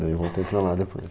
Daí eu voltei para lá depois.